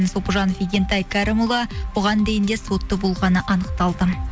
сопыжанов игентай кәрімұлы бұған дейін де сотты болғаны анықталды